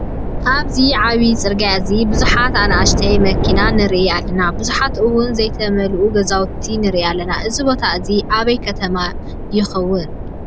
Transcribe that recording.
ኣብዚ ዓብይ ፅርግያ እዚ ቡዙሓት ኣናእሽቲ መኪና ንርኢ ኣለና። ቡዙሓት እውን ዘይተመለኡ ገዛውቲ ንርኢ ኣለና። እዚ ቦታ እዚ ኣበይ ከተማ ይከውን ?